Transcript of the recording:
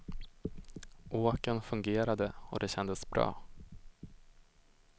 Åken fungerade och det kändes bra.